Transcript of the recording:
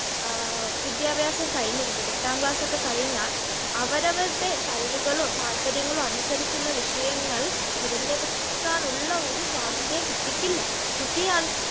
വിദ്യാഭ്യാസം കഴിഞ്ഞിട്ട് എട്ടാം ക്ലാസ്സൊക്കെ കഴിഞ്ഞാൽ അവരവരുടെ കഴിവുകളും താല്പര്യങ്ങളും അനുസരിച്ചുള്ള വിഷയങ്ങൾ തിരഞ്ഞെടുക്കാനുള്ള ഒരു സ്വാതന്ത്ര്യം കുട്ടിക്കില്ല. കുട്ടിയെ